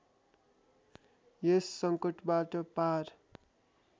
यस सङ्कटबाट पार